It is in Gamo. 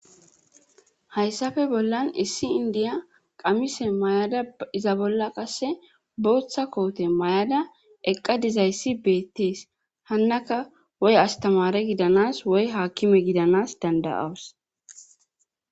hayssafe bollan issi indiya qamise mayada iza bolla qasse booththa koote may7ada eqqa dizayssi beettees hannaka woy astamare gidanas woy haakime gidanas danda'awus